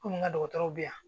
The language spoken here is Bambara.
Kɔmi n ka dɔgɔtɔrɔw bɛ yan